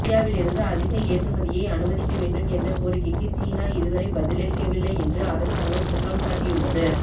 இந்தியாவில் இருந்து அதிக ஏற்றுமதியை அனுமதிக்க வேண்டும் என்ற கோரிக்கைக்கு சீனா இதுவரை பதிலளிக்கவில்லை என்று அரசாங்கம் குற்றம் சாட்டியுள்ளது